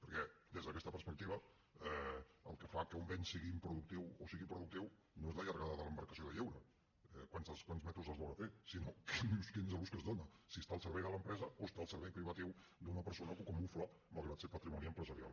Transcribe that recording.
perquè des d’aquesta perspectiva el que fa que un bé sigui improductiu o sigui productiu no és la llargada de l’embarcació de lleure quants metres d’eslora té sinó quin és l’ús que s’hi dona si està al servei de l’empresa o està al servei privatiu d’una persona que ho camufla malgrat ser patrimoni empresarial